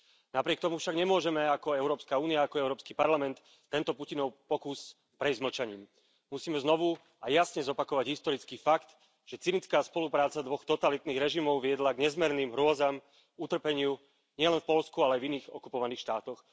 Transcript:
Napriek tomu však nemôžeme ako Európska únia a ako Európsky parlament tento Putinov pokus prejsť mlčaním. Musíme znovu a jasne zopakovať historický fakt, že cynická spolupráca dvoch totalitných režimov viedla k nezmerným hrôzam, utrpeniu nielen v Poľsku, ale aj v iných okupovaných štátoch.